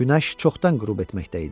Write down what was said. Günəş çoxdan qürub etməkdə idi.